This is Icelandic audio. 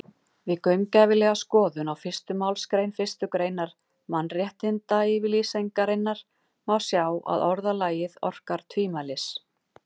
Við gaumgæfilega skoðun á fyrstu málsgrein fyrstu greinar Mannréttindayfirlýsingarinnar má sjá að orðalagið orkar tvímælis.